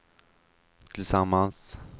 tillsammans